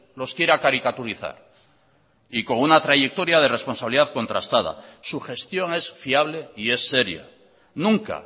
los quiera caricaturizar y con una trayectoria de responsabilidad contrastada su gestión es fiable y es seria nunca